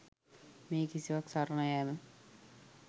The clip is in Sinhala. මේ කිසිවක් සරණ යෑම